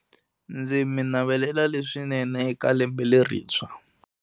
Ndzi mi navelela leswinene eka lembe lerintshwa.